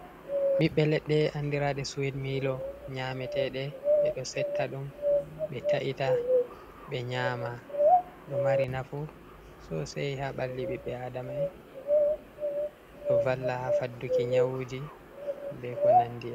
Ɓiɓɓe leɗɗe, andiraɗe suwit miilo nyameteɗe, ɓe ɗo setta ɗum ɓe ta’ita ɓe nyama, ɗo mari nafu sosei haa ɓalli ɓiɓɓe a adama'en, ɗo valla haa fadduki nyawuji, be ko nandi.